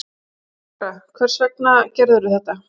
Júlía lægra: Hvers vegna gerðirðu þetta?